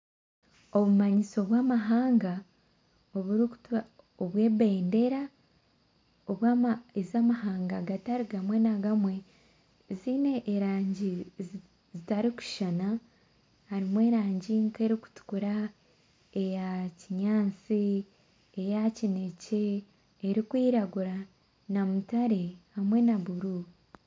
Obumanyiso bw'amahanga oburikutwa obw'ebendera obw'ama ez'amahanga gatari gamwe na gamwe ziine erangi zi zitarikushushana harimu erangi erikutukura eya kinyaasi eya kinekye erikwiragura na mutare hamwe na buru.